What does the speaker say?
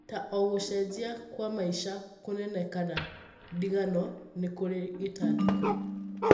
Ta o gucejia kwa maica kũnene kana ndigano nĩ kũrĩ ngĩtangĩko.